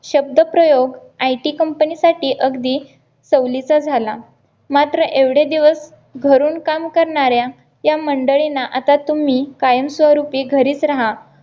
शब्दप्रयोग IT company साठी अगदी सवलीचा झाला मात्र एवढे दिवस घरून काम करणाऱ्या या मंडळींना आता तुम्ही कायमस्वरूपी घरीच रहा